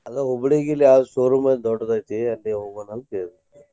ಅದ Hubli ಇಲ್ಲಿ ಯಾವ showroom ಅ ದೊಡ್ದ್ ಐತಿ ಅಲ್ಲಿಗೆ ಹೋಗೋಣ ಅಂತ ಕೇಳ್ದೆ.